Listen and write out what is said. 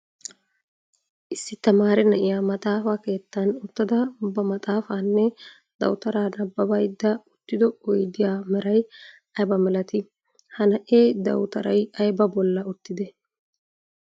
Issi tamaare na'iya maxaafa keettan uttada ba maxafaanne dawuttara nabbabayidde uttido oyddiya meray aybba milatti? Ha na'ee dawutaray aybba bolla uttide?